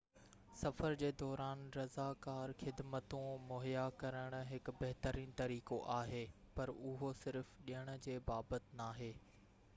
سفر جي دوران رضاڪار خدمتون مهيا ڪرڻ هڪ بهترين طريقو آهي پر اهو صرف ڏيڻ جي بابت ناهي